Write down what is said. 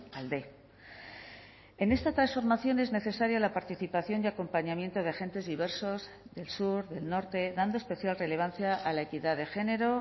alde en esta transformación es necesaria la participación y acompañamiento de agentes diversos del sur del norte dando especial relevancia a la equidad de género